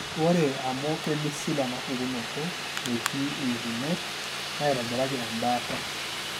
Ore amu keimisil enapukunoto, metii iutunot naitobiraki embaata.